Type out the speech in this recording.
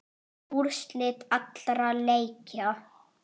Úrslit allra leikja